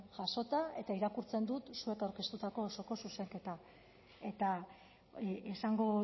jasota eta irakurtzen dut zuek aurkeztutako osoko zuzenketa eta esango